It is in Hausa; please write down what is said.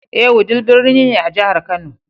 Ee, Wudil birni ne a jihar Kano.